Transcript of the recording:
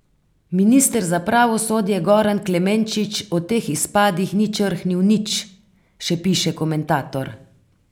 Minister za pravosodje Goran Klemenčič o teh izpadih ni črhnil nič, še piše komentator.